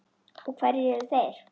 Og hverjir eru þeir?